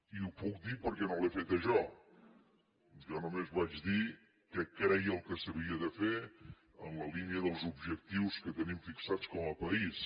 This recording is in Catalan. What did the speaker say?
i ho puc dir perquè no l’he feta jo jo només vaig dir el que creia que s’havia de fer en la línia dels objectius que tenim fixats com a país